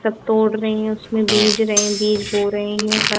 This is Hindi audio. सब तोड़ रहे हैं उसमें बीज रहे हैं बीज बो रहे हैं